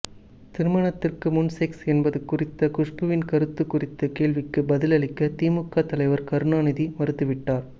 திருமணத்துக்கு முன் செக்ஸ் என்பது குறித்த குஷ்புவின் கருத்து குறித்த கேள்விக்கு பதிலளிக்க திமுக தலைவர் கருணாநிதிமறுத்துவிட்டார்